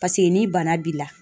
Paseke ni bana b'i la